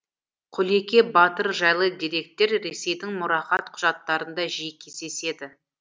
құлеке батыр жайлы деректер ресейдің мұрағат құжаттарында жиі кездеседі